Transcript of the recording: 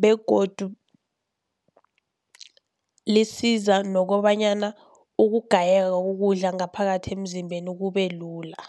begodu lisiza nokobanyana ukugayeka kokudla ngaphakathi emzimbeni kube lula.